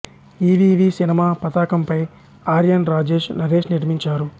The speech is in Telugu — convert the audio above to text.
ఈ వి వి సినిమా పతాకంపై ఆర్యన్ రాజేష్ నరేష్ నిర్మించారు